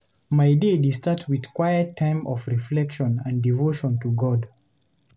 My day dey start with quiet time of reflection and devotion to God.